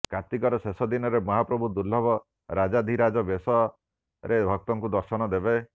କାର୍ତିକର ଶେଷ ଦିନରେ ମହାପ୍ରଭୁ ଦୁର୍ଲଭ ରାଜାଧିରାଜ ବେଶରେ ଭକ୍ତଙ୍କୁ ଦର୍ଶନ ଦେବେ